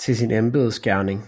til sin embedsgerning